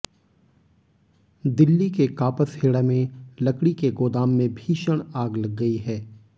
दिल्ली के कापसहेड़ा में लकड़ी के गोदाम में भीषण आग लग गई है